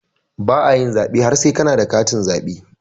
Baka yin zaɓe har sai kana da katin zaɓe